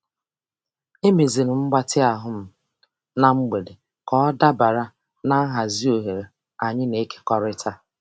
Emeziri m mgbatị ahụ m na mgbede ka ọ dabara na nhazi oghere anyị na-ekekọrịta.